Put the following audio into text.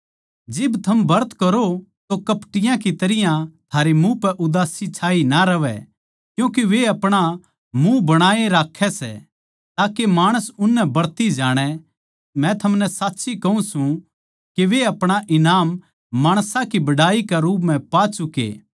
जिब थम ब्रत करो तो कपटियाँ की तरियां थारै मुँह पै उदासी छाई ना रहवै क्यूँके वे अपणा मुँह बणाई राक्खै सै ताके माणस उननै ब्रती जाणै मै थमनै साच्ची कहूँ सूं के वे अपणा ईनाम माणसां की बड़ाई के रूप म्ह पा चुके